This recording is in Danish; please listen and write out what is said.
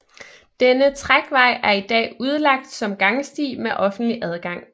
Denne trækvej er i dag udlagt som gangsti med offentlig adgang